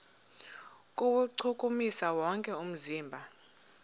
kuwuchukumisa wonke umzimba